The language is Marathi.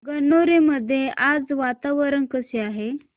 गणोरे मध्ये आज वातावरण कसे आहे